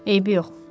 Eybi yox.